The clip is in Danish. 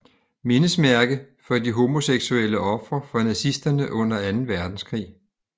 Mindesmærke for de homoseksuelle ofre for nazisterne under Anden Verdenskrig